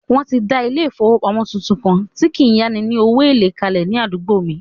Wọ́n ti dà ilé-ìfowópamọ́sí tuntun kan tí kí n yá ni ní owó èlé kalẹ̀ ní àdúgbò mi